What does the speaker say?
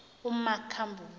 umakhambule